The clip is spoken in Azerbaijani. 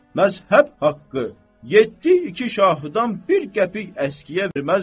Məzhəb haqqı yeddi iki şahıdan bir qəpik əskiyə verməzlər.